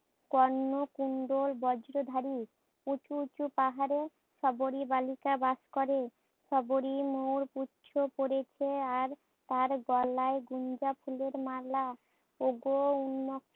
কর্ণ কুণ্ডল বজ্রধারি উচু উচু পাহাড়ে সবরি বালিকা বাস করে। সবরি মোর পুচ্ছ পরেছে আর তার গলায় গুঞ্জা ফুলের মালা, ওগো